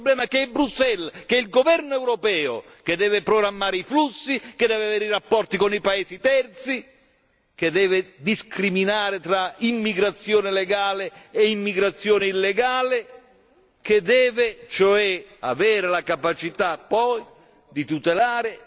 Il problema è che è Bruxelles, è il governo europeo che deve programmare i flussi, che deve avere i rapporti con i paesi terzi, che deve discriminare tra immigrazione legale e immigrazione illegale, che deve cioè avere la capacità poi di tutelare